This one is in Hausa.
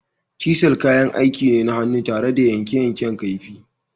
“Chisel” kayan aiki ne na hannu tare da yanke yankan kaifi.